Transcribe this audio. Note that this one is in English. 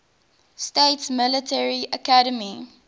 states military academy